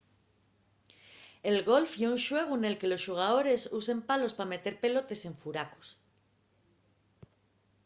el golf ye un xuegu nel que los xugadores usen palos pa meter pelotes en furacos